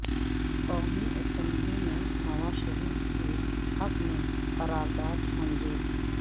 قومی اسمبلی میں نواز شریف کے حق میں قرارداد منظور